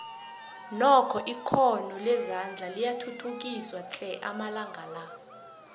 nokho ikhono lezandla liyathuthukiswa tle amalanga la